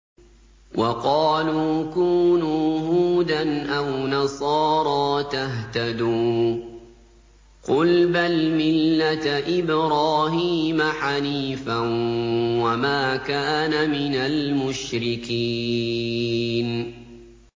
وَقَالُوا كُونُوا هُودًا أَوْ نَصَارَىٰ تَهْتَدُوا ۗ قُلْ بَلْ مِلَّةَ إِبْرَاهِيمَ حَنِيفًا ۖ وَمَا كَانَ مِنَ الْمُشْرِكِينَ